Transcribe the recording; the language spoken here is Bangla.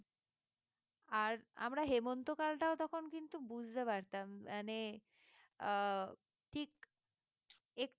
আর আমরা হেমন্তকালটাও তখন কিন্তু বুঝতে পারতাম মানে আহ ঠিক একটু